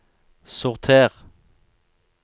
sorter